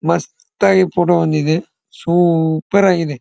ಮಸ್ತಾಗಿ photo ಬಂದಿದೆ super ಆಗಿದೆ.